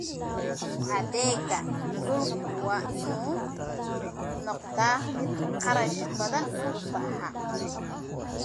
Adeegga dhulku waa inuu noqdaa mid kharash badan ku baxa.